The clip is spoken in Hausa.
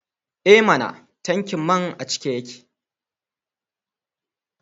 E mana! tankin man a cike yake.